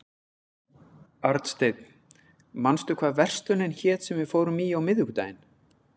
Arnsteinn, manstu hvað verslunin hét sem við fórum í á miðvikudaginn?